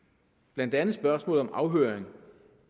blandt andet spørgsmålet om afhøring